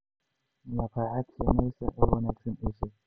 Maqaayad shiinees ah oo wanaagsan ii sheeg